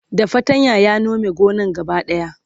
da fatanya ya Nome gonan gaba daya